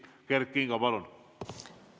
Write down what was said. Kert Kingo, palun!